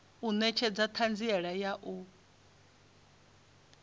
u netshedza thanziela ya u